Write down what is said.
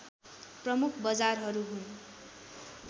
प्रमुख बजारहरू हुन्